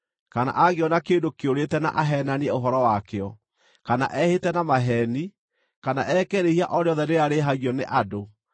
kana angĩona kĩndũ kĩũrĩte na aheenanie ũhoro wakĩo, kana ehĩte na maheeni, kana eke rĩĩhia o rĩothe rĩrĩa rĩĩhagio nĩ andũ,